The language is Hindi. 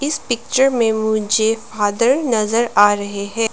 इस पिक्चर में मुझे फादर नजर आ रहे हैं।